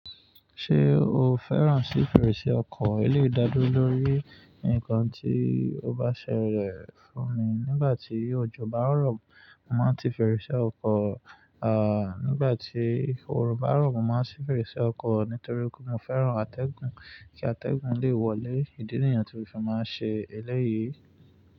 Ṣé o fẹ́ràn sí fèrèsé ọkọ̀? Ile ìdádúró lórí ǹkan tí o bá ṣẹlẹ̀ fún mi. Nígbà tí òjò bá rọ̀, mo máa ń tí fèrèsé ọkọ̀. À, nígbà tí orun bá rọ̀, mo máa ń ṣí fèrèsé ọkọ̀ nítorí mo fẹ́ràn atẹ́gùn. Kí atẹ́gùn lè wọlé, ìdí nìyẹn tí mo fi máa ń ṣe eléyìí.